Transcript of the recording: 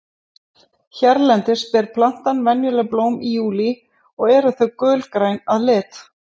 hérlendis ber plantan venjulega blóm í júlí og eru þau gulgræn að lit